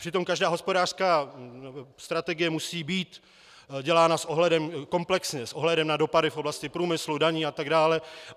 Přitom každá hospodářská strategie musí být dělána komplexně, s ohledem na dopady v oblasti průmyslu, daní atd.